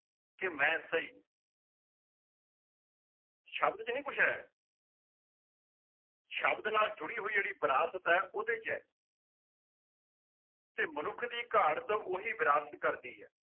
ਕਿ ਮੈਂ ਸਹੀ ਸ਼ਬਦ ਚ ਨੀ ਕੁਛ ਹੈ ਸ਼ਬਦ ਨਾਲ ਜੁੜੀ ਹੋਈ ਜਿਹੜੀ ਵਿਰਾਸਤ ਹੈ ਉਹਦੇ ਚ ਹੈ ਤੇ ਮਨੁੱਖ ਦੀ ਘਾੜਤ ਉਹੀ ਵਿਰਾਸਤ ਕਰਦੀ ਹੈ